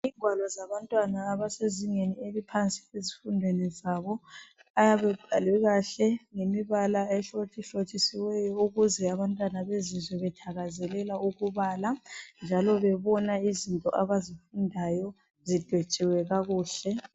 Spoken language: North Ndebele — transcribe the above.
Ingwalo zabantwana abasezingeni eliphansi ezifundweni zabo ayabe ebhalwe kahle ngemibala ehlotshisiweyo ukuze abantwana bezizwe bethakazelela ukubala njalo bebona izinto abazifundayo zidwetshiwe kakuhle.